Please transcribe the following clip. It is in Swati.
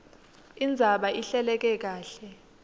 indzaba ihleleke kahle